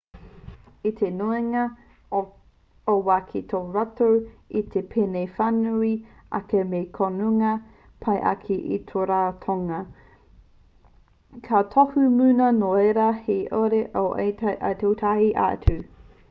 i te nuinga o te wā kei te tuku rātou i te pēne whānui ake me te kounga pai ake o te ratonga kua tohu muna nō reira he uaua ake te tūtai atu